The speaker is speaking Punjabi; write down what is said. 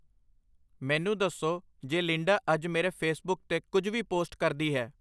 ਮੈਨੂੰ ਦੱਸੋ ਜੇ ਲਿੰਡਾ ਅੱਜ ਮੇਰੇ ਫੇਸਬੁੱਕ 'ਤੇ ਕੁਝ ਵੀ ਪੋਸਟ ਕਰਦੀ ਹੈ